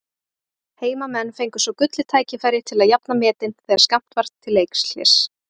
Heimamenn fengu svo gullið tækifæri til að jafna metin þegar skammt var til leikhlés.